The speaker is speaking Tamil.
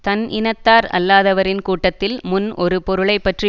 தன் இனத்தார் அல்லாதவரின் கூட்டத்தில் முன் ஒரு பொருளைப்பற்றி